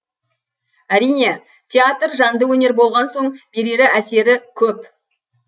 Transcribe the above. әрине театр жанды өнер болған соң берері әсері көп